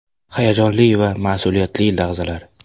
Hayajonli va mas’uliyatli lahzalar.